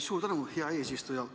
Suur tänu, hea eesistuja!